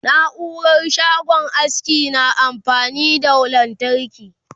naurar shagon aski na amfani da lantarki